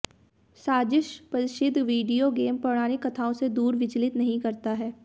साजिश प्रसिद्ध video game पौराणिक कथाओं से दूर विचलित नहीं करता है